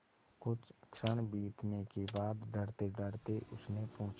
कुछ क्षण बीतने के बाद डरतेडरते उसने पूछा